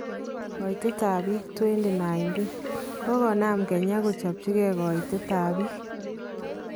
Koitet ab bik 2019:kokonam kenya kochopchike koitet ab bik.